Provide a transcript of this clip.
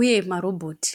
uye marobhoti.